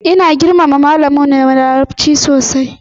Ina girmama malamin mu na larabci sosai.